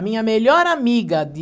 A minha melhor amiga de...